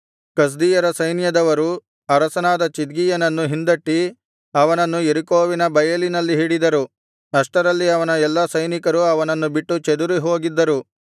ಕಸ್ದೀಯರ ಸೈನ್ಯದವರು ಅರಸನಾದ ಚಿದ್ಕೀಯನನ್ನು ಹಿಂದಟ್ಟಿ ಅವನನ್ನು ಯೆರಿಕೋವಿನ ಬಯಲಿನಲ್ಲಿ ಹಿಡಿದರು ಅಷ್ಟರಲ್ಲಿ ಅವನ ಎಲ್ಲಾ ಸೈನಿಕರು ಅವನನ್ನು ಬಿಟ್ಟು ಚದುರಿ ಹೋಗಿದ್ದರು